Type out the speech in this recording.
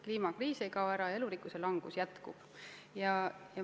Kliimakriis ei kao ära, elurikkuse vähenemine jätkub.